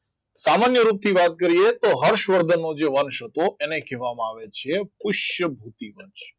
સામાન્ય રૂપથી વાત કરીએ તો હર્ષવર્ધનનો જે વંશ હતો એને કહેવામાં આવે છે પુષ્યકૃતિ વંશ